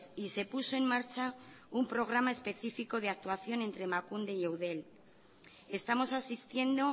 y se puso en marcha un programa específico de actuación entre emakunde y eudel estamos asistiendo